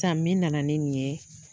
Sisan min nana ni nin ye,